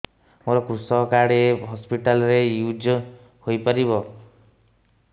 ମୋର କୃଷକ କାର୍ଡ ଏ ହସପିଟାଲ ରେ ୟୁଜ଼ ହୋଇପାରିବ